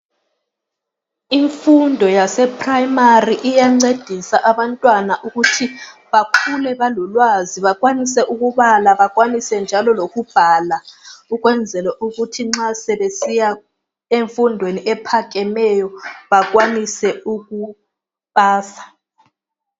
Imfundo yase primary iyancedisa abantwana ukuthi bakhule balolwazi . Bakhwanise ukubala bakhwanise njalo lokubhala. Ukwenzala ukuthi nxa sebesiya enfundweni ephakemeyo bakhwanise ukupasa.